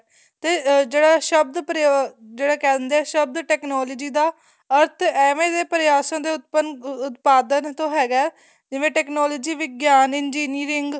ਤੇ ਜਿਹੜਾ ਸ਼ਬਦ ਪ੍ਰਯੋਗ ਤੇ ਜਿਹੜਾ ਕਹਿ ਦਿੰਨੇ ਏ ਸ਼ਬਦ technology ਦਾ ਅਰਥ ਐਵੇਂ ਦੇ ਪਰਿਆਸਾਂ ਤੇ ਉਤਪਾਦਨ ਤੋ ਹੈਗਾ ਏ ਜਿਵੇਂ technology ਵਿਗਿਆਨ engineering